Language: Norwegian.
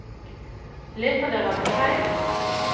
Leter dere etter feil?